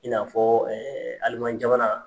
I n'a fɔ alimanjamana.